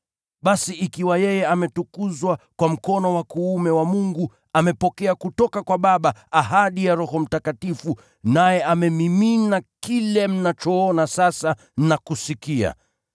Basi ikiwa yeye ametukuzwa kwa mkono wa kuume wa Mungu, amepokea kutoka kwa Baba ahadi ya Roho Mtakatifu, naye amemimina kile mnachoona sasa na kusikia.